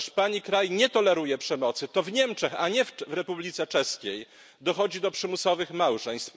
Komisarz, Pani kraj nie toleruje przemocy, to w Niemczech a nie w Republice Czeskiej dochodzi do przymusowych małżeństw.